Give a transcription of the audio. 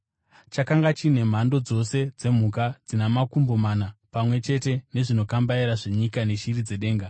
Chakanga chine mhando dzose dzemhuka dzina makumbo mana, pamwe chete nezvinokambaira zvenyika, neshiri dzedenga.